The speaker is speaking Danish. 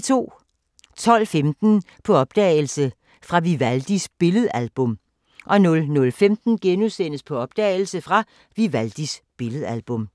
12:15: På opdagelse – Fra Vivaldis billedalbum 00:15: På opdagelse – Fra Vivaldis billedalbum *